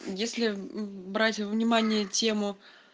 если брать внимание тему